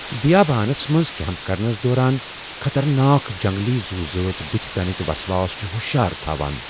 بیابانس منز كیمپ كرنس دوران خطرناک جنگلی زُو ذٲژ بُتھہِ پینُک وسواس چھُ ہشیار تھوان۔